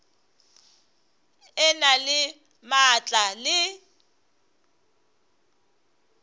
e na le maatla le